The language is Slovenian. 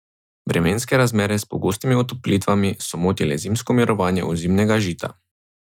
Vremenske razmere s pogostimi otoplitvami so motile zimsko mirovanje ozimnega žita.